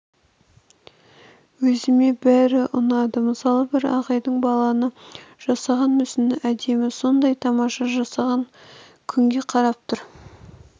өзіме бәрі ұнады мысалы бір ағайдың баланы жасаған мүсіні әдемі сондай тамаша жасаған күнге қарап тұр